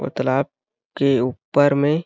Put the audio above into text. और तालाब के ऊपर में--